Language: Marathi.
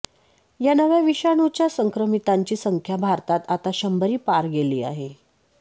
या नव्या विषाणूच्या संक्रमितांची संख्या भारतात आता शंभरी पार गेली आहे